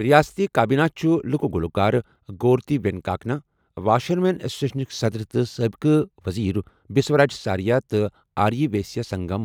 رِیاستی کابینہِ چُھ لُکہٕ گُلوکار گورتی وینکاکنا، واشرمین ایسوسیشنُک صدر تہٕ سٲبِقہٕ ؤزیٖر بسوراج ساریا تہٕ آری ویسیا سنگم